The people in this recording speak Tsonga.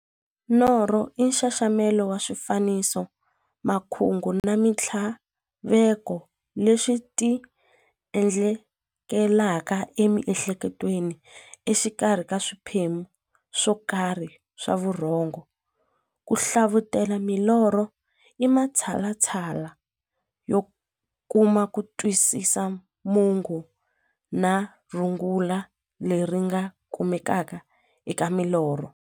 Norho i nxaxamelo wa swifaniso, makungu na minthlaveko leswi ti endlekelaka e mi'hleketweni exikarhi ka swiphemu swokarhi swa vurhongo. Ku hlavutela milorho i matshalatshala yo kuma kutwisisa mungo na rungula leri nga kumekaka eka milorho.